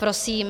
Prosím.